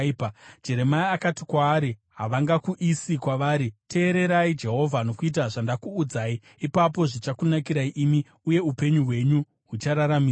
Jeremia akati kwaari, “Havangakuisiyi kwavari. Teererai Jehovha nokuita zvandakuudzai. Ipapo zvichakunakirai imi, uye upenyu hwenyu huchararamiswa.